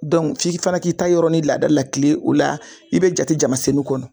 f'i fana k'i ta yɔrɔnin laada lakile o la i bɛ jatejamasenu kɔnɔ.